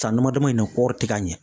San damada in na kɔɔri tɛ ka ɲɛ.